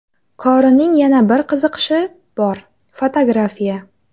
Korining yana bir qiziqishi bor fotografiya.